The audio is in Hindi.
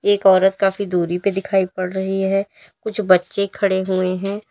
एक औरत काफी दूरी पे दिखाई पड़ रही है कुछ बच्चे खड़े हुए हैं।